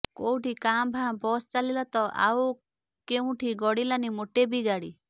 କୋଉଠି କାଁ ଭାଁ ବସ ଚାଲିଲା ତ ଆଉ କେଉଁଠି ଗଡ଼ିଲାନି ଗୋଟେ ବି ଗାଡ଼ି